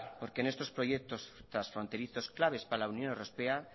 porque en estos proyecto transfronterizos claves para la unión europea